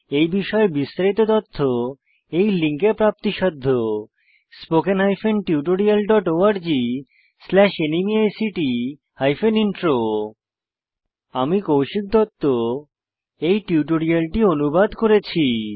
এই বিষয়ে বিস্তারিত তথ্য এই লিঙ্কে প্রাপ্তিসাধ্য spoken hyphen tutorial dot org slash NMEICT hyphen intro আমি কৌশিক দত্ত এই টিউটোরিয়ালটি অনুবাদ করেছি